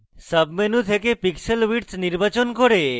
sub menu থেকে pixel width নির্বাচন করে